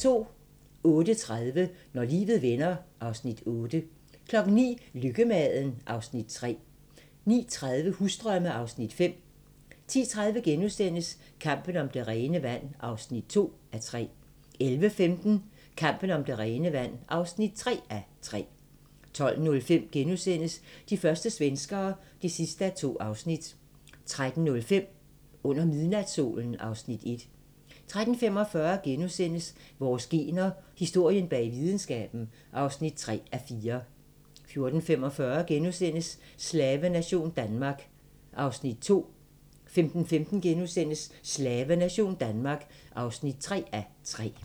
08:30: Når livet vender (Afs. 8) 09:00: Lykkemaden (Afs. 3) 09:30: Husdrømme (Afs. 5) 10:30: Kampen om det rene vand (2:3)* 11:15: Kampen om det rene vand (3:3) 12:05: De første svenskere (2:2)* 13:05: Under midnatssolen (Afs. 1) 13:45: Vores gener – Historien bag videnskaben (3:4)* 14:45: Slavenation Danmark (2:3)* 15:15: Slavenation Danmark (3:3)*